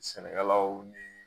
Sɛnɛkɛlaw